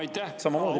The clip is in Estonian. Aitäh!